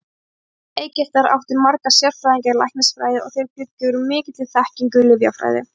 Forn-Egyptar áttu marga sérfræðinga í læknisfræði og þeir bjuggu yfir mikilli þekkingu í lyfjafræði.